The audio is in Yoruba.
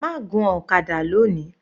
Má gun ọ̀kadà lóni.